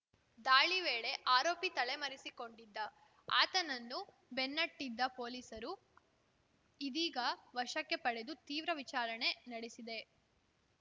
ದಾಳಿ ವೇಳೆ ಆರೋಪಿ ತಲೆಮರೆಸಿಕೊಂಡಿದ್ದ ಆತನನ್ನು ಬೆನ್ನಟ್ಟಿದ್ದ ಪೊಲೀಸರು ಇದೀಗ ವಶಕ್ಕೆ ಪಡೆದು ತೀವ್ರ ವಿಚಾರಣೆ ನಡೆಸಿದೆ